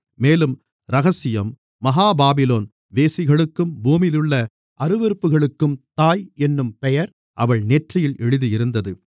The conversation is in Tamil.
மேலும் இரகசியம் மகா பாபிலோன் வேசிகளுக்கும் பூமியிலுள்ள அருவருப்புகளுக்கும் தாய் என்னும் பெயர் அவள் நெற்றியில் எழுதியிருந்தது